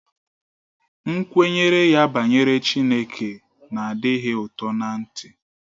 Nkwenye ya banyere Chineke na-adịghị ụtọ ná-ntị